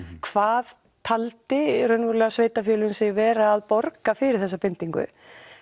hvað taldi í raun og veru sveitarfélögin sig vera að borga fyrir þessa bindingu